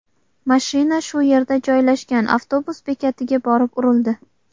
Mashina shu yerda joylashgan avtobus bekatiga borib urildi.